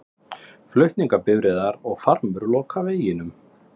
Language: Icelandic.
Flutningabifreiðarnar og farmur loka veginum